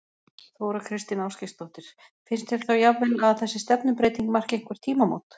Þóra Kristín Ásgeirsdóttir: Finnst þér þá jafnvel að þessi stefnubreyting marki einhver tímamót?